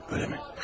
Öyləmi?